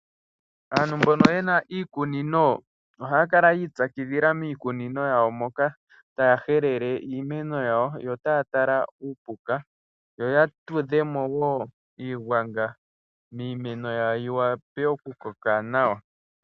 Aantu mbono yena iikunino ohaya kala yiipyakidhila miikunino yawo moka, taya helele iimeno yawo yo taya tala uupuka yo yatudhemo wo iigwanga miimeno yawo yiwape okukoka nawa.